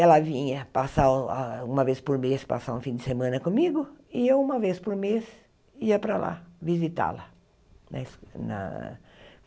Ela vinha passar o a uma vez por mês, passar um fim de semana comigo, e eu uma vez por mês ia para lá, visitá-la.